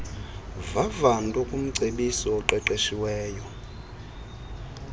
vavanto kumcebisi oqeqeshiweyo